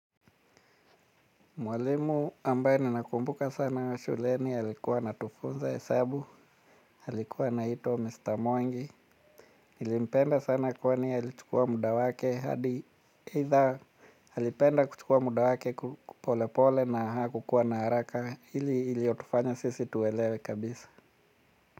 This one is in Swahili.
Mwalimu ambaye ninakumbuka sana wa shuleni, alikuwa anatufunza hesabu, alikuwa naitwa Mr. Mwangi, nilimpenda sana kwani alichukua muda wake hadi aidha alipenda kuchukua muda wake pole pole na hakukua na haraka, hili ilitufanya sisi tuwelewe kabisa.